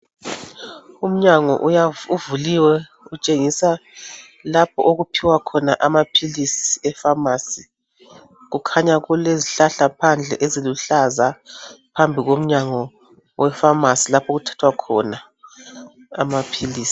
Umnyango uvuliwe utshengisa lapho okuphiwa khona amapills ephamacy kukhanya kulezihlahla phandle ezilihlaza phambi komnyango wephamacy lapha okuthathwa khona amapills